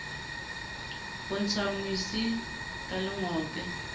ho ntsha mosi ka lengope